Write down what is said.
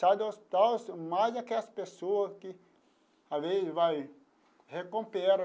Sai do hospital mais aquelas pessoas que às vezes vai recupera.